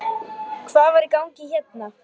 Hvað var í gangi hérna?